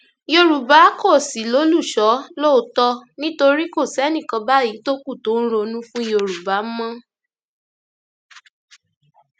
yorùbá kò sì lólùṣọ́ lóòótọ nítorí kò sẹnì kan báyìí tó kù tó ń ronú fún yorùbá mọ